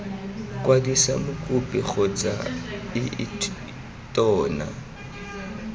kwadisa mokopi kgotsa ii tona